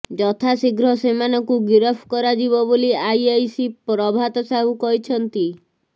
ଯଥା ଶୀଘ୍ର ସେମାନଙ୍କୁ ଗିରଫ କରାଯିବ ବୋଲି ଆଇଆଇସି ପ୍ରଭାତ ସାହୁ କହିଛନ୍ତି